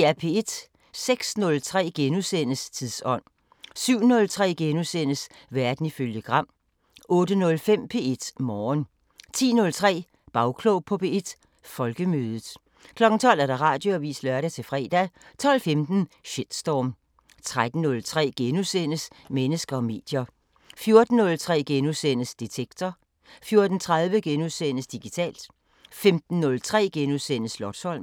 06:03: Tidsånd * 07:03: Verden ifølge Gram * 08:05: P1 Morgen 10:03: Bagklog på P1: Folkemødet 12:00: Radioavisen (lør-fre) 12:15: Shitstorm 13:03: Mennesker og medier * 14:03: Detektor * 14:30: Digitalt * 15:03: Slotsholmen *